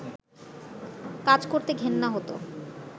কাজ করতে ঘেন্না হতো